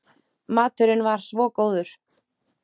Maturinn var svo góður.